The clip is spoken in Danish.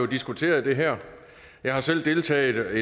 diskuteret det her jeg har selv deltaget